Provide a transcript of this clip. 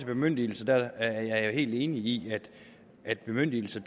bemyndigelser er jeg jo helt enig i at bemyndigelser